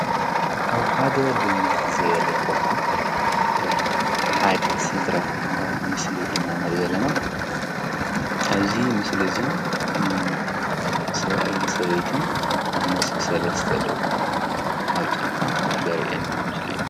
ኣብ ሓደ ልምዕ ዝበለ ቦታ ሓደ ስድራ ምስሊ ኢና ንሪኢ ዘለና። ኣብዚ ምስሊ ዚ ሰብኣይን ሰበይትን ምስ ሰለስተ ደቆም ኣብ ጫካ ዘርእየና ምስሊ እዩ።